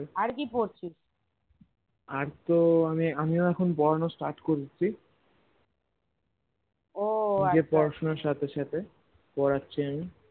আর তো আমি আমিও এখন পড়ানো start করেছি নিজের পড়াশোনার সাথে সাথে পড়াচ্ছি আমি